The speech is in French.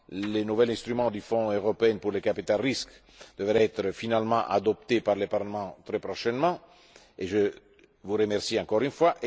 Le nouvel instrument du Fonds européen pour le capital risque devrait être finalement adopté par le Parlement très prochainement et je vous remercie encore une